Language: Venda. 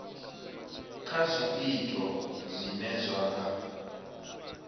kha zwiito zwine zwa nga